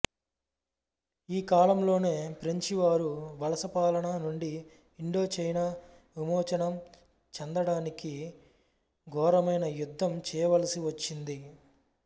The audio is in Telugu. ఈ కాలంలోనే ఫ్రెంచి వారి వలసపాలన నుండి ఇండోచైనా విమోచనం చెందటానికి ఘోరమైన యుద్ధం చేయవలసి వచ్చింది